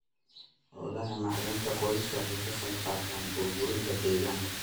Hawlaha macdanta qodistu waxay ka qaybqaataan burburinta deegaanka.